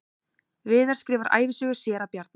Viðar skrifar ævisögu séra Bjarna